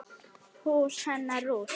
Hús hennar rúst.